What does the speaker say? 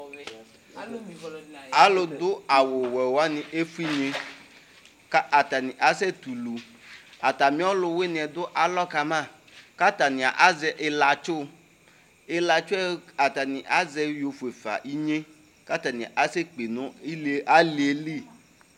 alʋ dʋ awʋ wɛ wani ɛƒʋɛ inyɛ kʋ atani asɛ tɛ ʋlʋ, atami ɔlʋwiniɛ dʋ alɔ kama kʋ atani azɛ ilatsʋ ilatsʋɛ atani yɔ ƒʋɛƒa inyɛ kʋ atani asɛ kpè nʋ aliɛli